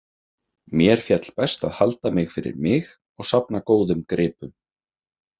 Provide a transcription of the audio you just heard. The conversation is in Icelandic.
Mér féll best að halda mig fyrir mig og safna góðum gripum.